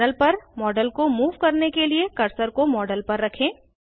panel पर model को move करने के लिए कर्सर को मॉडल पर रखें